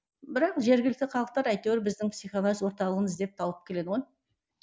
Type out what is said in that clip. бірақ жергілікті халықтар әйтеуір біздің психоанализ орталығын іздеп тауып келеді ғой